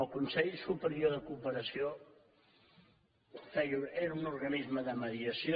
el consell superior de cooperació era un organisme de mediació